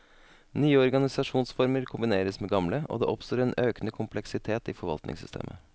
Nye organisasjonsformer kombineres med gamle, og det oppstår en økende kompleksitet i forvaltningssystemet.